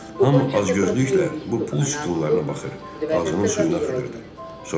Hamı acgözlüklə bu pul sütunlarına baxır, ağzının suyunu axıdırdı.